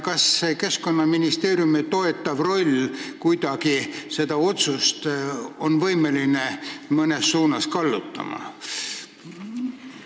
Kas Keskkonnaministeeriumi toetav roll saab kuidagi seda otsust mõnes suunas kallutada?